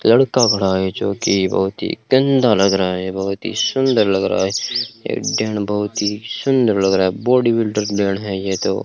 लड़का खड़ा है जो कि बहुत ही ठंडा लग रहा है बहुत ही सुंदर लग रहा है एक दम बहुत ही सुंदर लग रहा है बॉडी बिल्डर है ये तो।